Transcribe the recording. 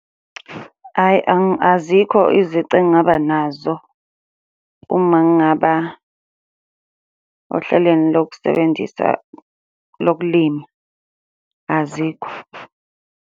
Hhayi, azikho izici engingaba nazo uma ngingaba ohlelweni lokusebenzisa lokulima, azikho.